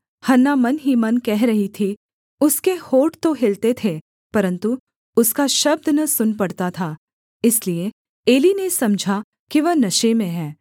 हन्ना मन ही मन कह रही थी उसके होंठ तो हिलते थे परन्तु उसका शब्द न सुन पड़ता था इसलिए एली ने समझा कि वह नशे में है